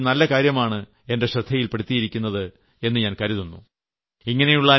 ശില്പി വർമ്മ ഒരു നല്ല കാര്യമാണ് എന്റെ ശ്രദ്ധയിൽപെടുത്തിയിരിക്കുന്നത് എന്ന് ഞാൻ കരുതുന്നു